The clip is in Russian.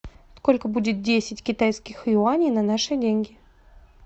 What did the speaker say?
сколько будет десять китайских юаней на наши деньги